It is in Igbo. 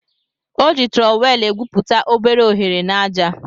O ji trọwel egwuputa obere ohere n'aja.